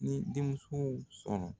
N ye denmusow sɔrɔ.